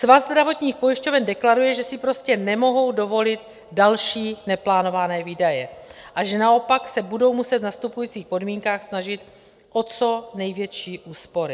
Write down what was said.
Svaz zdravotních pojišťoven deklaruje, že si prostě nemohou dovolit další neplánované výdaje a že naopak se budou muset v nastupujících podmínkách snažit o co největší úspory.